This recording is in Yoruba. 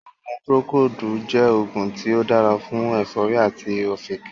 oògùn 'Procold' jẹ́ oògùn tí ó dára fún ẹ̀fọ́rì àti ọ̀fìnkìn